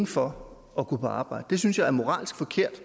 for at gå på arbejde det synes jeg er moralsk forkert